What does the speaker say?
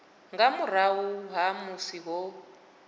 nga murahu ha musi ho